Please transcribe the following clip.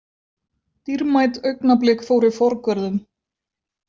Dýrmæt augnablik fóru forgörðum.